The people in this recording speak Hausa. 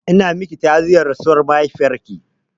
Ina miki ta'aziyyar rasuwar mahaifiyarki.